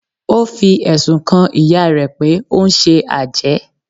ó fi ẹ̀sùn kan ìyá rẹ̀ pé ó ń ṣe àjẹ́